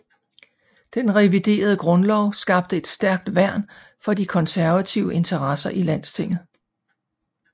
Den reviderede grundlov skabte et stærkt værn for de konservative interesser i Landstinget